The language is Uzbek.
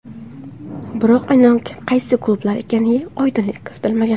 Biroq aynan qaysi klublar ekaniga oydinlik kiritilmagan.